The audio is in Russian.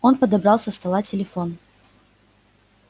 он подобрал со стола телефон